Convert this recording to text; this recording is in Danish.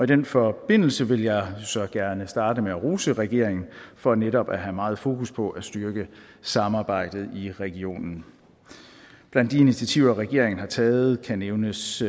den forbindelse vil jeg så gerne starte med at rose regeringen for netop at have meget fokus på at styrke samarbejdet i regionen blandt de initiativer regeringen har taget kan nævnes